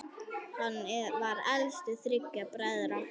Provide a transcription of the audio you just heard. Hann var elstur þriggja bræðra.